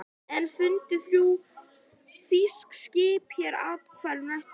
Enn fundu þrjú þýsk skip hér athvarf næstu daga.